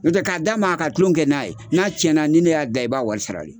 N'o tɛ k'a d'a ma ka tulon kɛ n'a ye n'a cɛnna ni ne y'a dilan i b'a wari sara le.